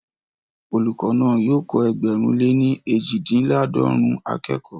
Olùkọ́ náà yóò kọ́ ẹgbẹ̀rún lè ní eejidinlaadọrun akẹ́kọ̀ọ́